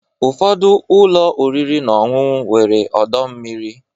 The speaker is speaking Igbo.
Ụfọdụ ụlọ oriri na ọṅụṅụ nwere ọdọ mmiri.